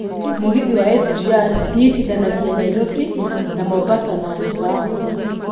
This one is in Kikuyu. Mũgithi wa SGR ũnyitithanagia Nairobi na Mombasa na njĩra hũthũ.